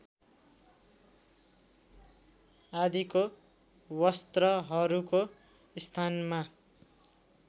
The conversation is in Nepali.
आदिको वस्त्रहरूको स्थानमा